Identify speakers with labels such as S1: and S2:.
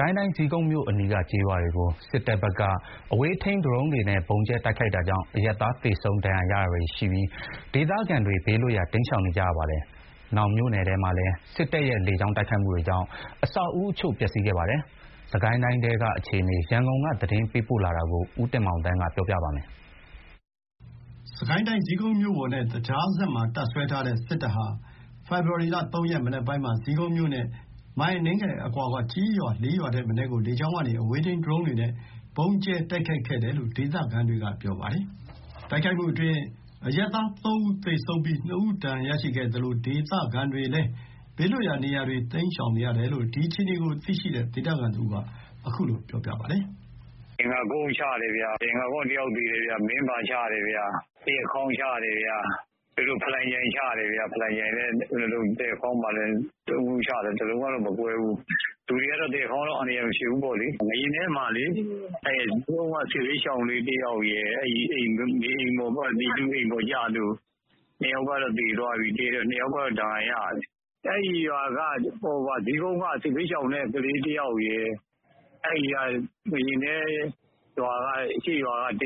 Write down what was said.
S1: ကိုင်းတိုင်း ဇီးကုန်းမြို့အနီးက ကျေးရွာတွေကို စစ်တပ်ဘက်က အဝေးထိန်း ဒရုန်းတွေနဲ့ ဗုံးကြဲတိုက်ခိုက်တာကြောင့် အရပ်သား သေဆုံး ဒဏ်ရာရတာတွေရှိပြီး ဒေသခံတွေ ဘေးလွတ်ရာ တိမ်းရှောင်နေကြပါတယ်။ မြောင်မြို့နယ်ထဲမှာလည်း စစ်တပ်ရဲ့ လေကြောင်းတိုက်ခိုက်မှုတွေေကြောင့် အဆောက်အဦးအချို့ ပျက်စီးခဲ့ပါတယ်။ စစ်ကိုင်းတိုင်းထဲက အခြေအနေ ရန်ကုန်က သတင်းပေးပို့ထားပါတယ်။ စ
S2: စ်ကိုင်းတိုင်း ဇီးကုန်းမြို့ပေါ်နဲ့ သကြားစက်မှာ တပ်စွဲထားတဲ့ စစ်တပ်ဟာ ဖေဖော်ဝါရီ ၃ ရက် မနက်ပိုင်းမှာ ဇီးကုန်းမြို့နဲ့ မိုင်အနည်းငယ်အကွာက ကျေးရွာ ၄ ရွာထက်မနည်းကို လေကြောင်းကနေ အဝေးထိန်း ဒရုန်းတွေနဲ့ ဗုံးကြဲတိုက်ခိုက်ခဲ့တယ်လို့ ဒေသခံတွေက ပြောပါတယ်။ တိုက်ခိုက်မှုအတွင်း အရပ်သား ၃ ဦး သေဆုံးပြီး ၂ ဦး ဒဏ်ရာရရှိခဲ့သလို ဒေသခံတွေလည်း ဘေးလွတ်ရာနေရာတွေ တိမ်းရှောင်နေရတယ်လို့ ဒီအခြေအနေကိုသိရှိတဲ့ ဒေသခံတဦးက အခုလို ပြ
S3: ောပါတယ်။ "ရင်ငတ်ကုန်းချတယ်။ ရင်ငတ်ကုန်းက တယောက်သေတယ်။ မင်းဘာ၊ သရက်ခေါင်းချတယ်။ ဖလံချိုင်ချတယ်။ သရက်ခေါင်းမှာက ၃ လုံးချတယ်။ ၁ လုံးကမကွဲဘူး။ လူတွေက သရက်ခေါင်းကတော့ အန္တရာယ် မဖြစ်ဘူးပေါ့လေ။ ငါးရားနဲမှာဆိုရင် ဇီးကုန်းက စစ်ဘေးရှောင်လေး တယောက်ရယ် ပြည်သူတွေ အိမ်အပေါ်ကျလို့ ၂ ယောက်ကတော့ သေတယ်။ ၂ ယောက်ကတော့ ဒဏ်ရာရတယ်။ အဲ့ဟာက ဇီးကုန်းက စစ်ဘေးရှောင် တယောက်ရယ် ငါးရာနဲ အရှေ့ရွာက ၁